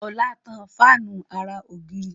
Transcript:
Ola ń tan Fáànù àrà ògiri.